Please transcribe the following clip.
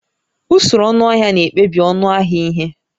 Usoro ọnụahịa na-ekpebi ọnụ ahịa ihe